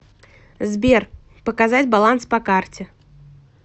сбер показать баланс по карте